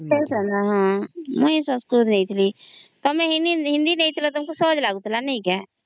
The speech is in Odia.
ହଁ ମୁଇ ସଂସ୍କୃତ ନେଇଥିଲି ତମେ ହିନ୍ଦୀ ନେଇଥିଲା ତମକୁ ସହଜ ଲାଗୁଥିଲା ନେଇକି